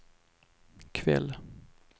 kväll